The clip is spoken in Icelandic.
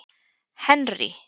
Henrý